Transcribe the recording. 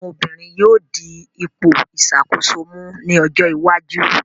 Àwọn obìnrin yóò di ipò ìṣàkóso mú ní ojó iwájú.